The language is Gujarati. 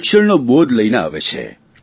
શિક્ષણનો બોદ લઇને આવે છે